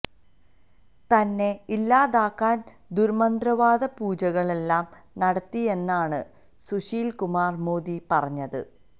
തന്നെ ഇല്ലാതാക്കാന് ദുര്മന്ത്രവാദ പൂജകള് ലാലു നടത്തിയെന്നാണ് സുശീല് കുമാര് മോദി പറഞ്ഞത്